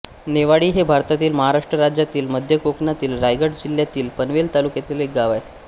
नेवाळी हे भारतातील महाराष्ट्र राज्यातील मध्य कोकणातील रायगड जिल्ह्यातील पनवेल तालुक्यातील एक गाव आहे